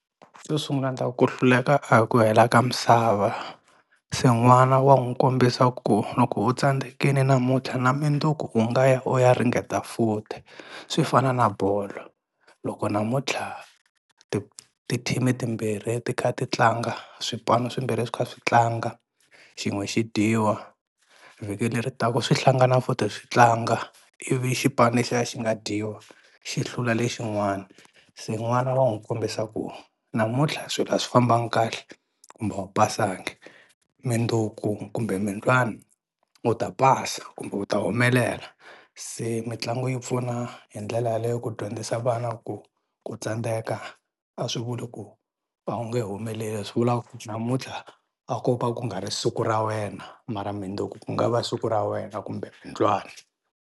Xo sungla ni ta ku ku hluleka a hi ku hela ka misava. Se n'wana wa n'wi kombisa ku loko u tsandzekile namuntlha na munduku u nga ya u ya ringeta futhi swi fana na bolo loko namuntlha ti-team-i timbirhi ti kha ti tlanga swipano swimbirhi swi kha swi tlanga, xin'we xi dyiwa, vhiki leri taka swi hlangana futhi switlanga ivi xipano lexiya xi nga dyiwa xi hlula lexin'wana. Se n'wana wa n'wi kombisa ku namuntlha swilo a swi fambanga kahle kumbe a wu pasangi, mundzuku kumbe mundlwana u ta pasa kumbe u ta humelela. Se mitlangu yi pfuna hi ndlela yaleyo ku dyondzisa vana ku ku tsandeka a swi vuli ku a wu nge humeleli, swi vula ku namuntlha a ko ka ku nga ri siku ra wena mara mundzuku ku nga va siku ra wena kumbe mundlwana.